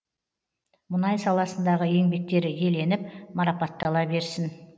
мұнай саласындағы еңбектері еленіп марапаттала берсін